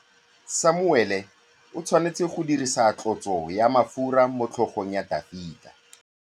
Samuele o tshwanetse go dirisa tlotsô ya mafura motlhôgong ya Dafita.